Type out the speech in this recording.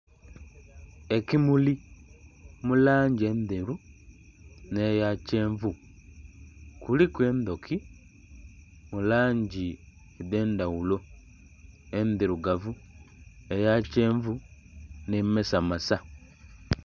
Ekimuli mu langi endheru nh'eya kyenvu. Kuliku endhuki mu langi edh'endhaghulo, endhirugavu, eya kyenvu nh'emasamasa.